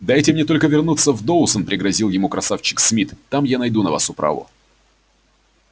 дайте мне только вернуться в доусон пригрозил ему красавчик смит там я найду на вас управу